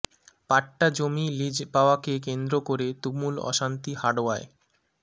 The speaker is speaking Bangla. পাট্টা জমি লিজ পাওয়াকে কেন্দ্র করে তুমুল অশান্তি হাড়োয়ায়